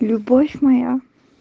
любовь моя